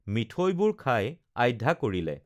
মিঠৈবোৰ খাই আধ্যা কৰিলে